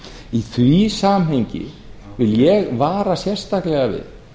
í því samhengi vil ég vara sérstaklega við